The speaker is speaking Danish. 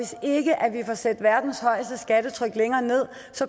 får sat verdens højeste skattetryk længere ned